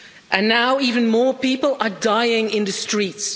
And now even more people are dying in the streets.